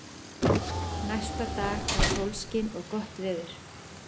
Næsta dag var sólskin og gott veður.